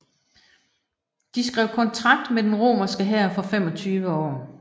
De skrev kontrakt med den romerske hær for 25 år